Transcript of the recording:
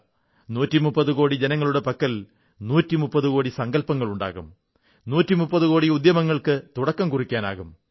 130 കോടി ജനങ്ങളുടെ പക്കൽ 130 കോടി സങ്കല്പങ്ങളുണ്ടാകും 130 കോടി ഉദ്യമങ്ങൾക്ക് തുടക്കം കുറിക്കാനാകും